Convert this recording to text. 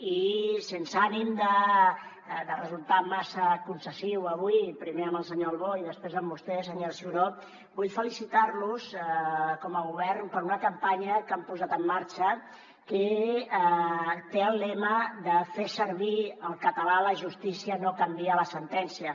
i sense ànim de resultar massa concessiu avui primer amb el senyor albó i després amb vostè senyora ciuró vull felicitar los com a govern per una campanya que han posat en marxa que té el lema de fer servir el català a la justícia no canvia la sentència